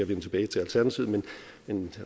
vende tilbage til alternativet